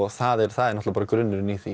það er það er grunnurinn í því